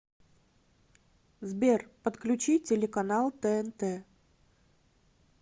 сбер подключи телеканал тнт